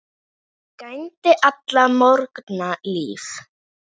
Hann gæddi alla morgna lífi.